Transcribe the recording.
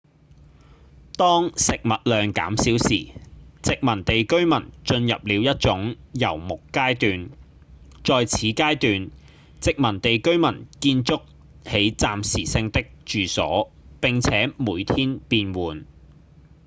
當食物量減少時殖民地居民進入了一種遊牧階段在此階段殖民地居民建築起暫時性的住所並且每天變換